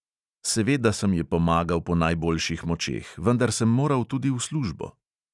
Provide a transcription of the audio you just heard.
Seveda sem ji pomagal po najboljših močeh, vendar sem moral tudi v službo.